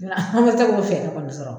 Nka an ma se k'o fɛɛrɛ kɔni sɔrɔ.